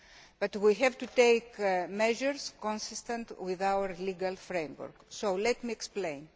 But we have to take measures consistent with our legal framework, so let me explain.